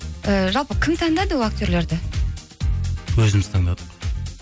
і жалпы кім таңдады ол актерлерді өзіміз таңдадық